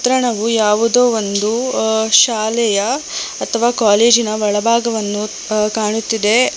ಚಿತ್ರಣವು ಯಾವುದೋ ಒಂದು ಆ ಶಾಲೆಯ ಅಥವಾ ಕಾಲೇಜಿನ ಒಳಭಾಗವನ್ನು ಅ ಕಾಣುತ್ತಿದೆ.